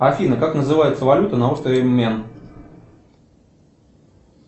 афина как называется валюта на острове мен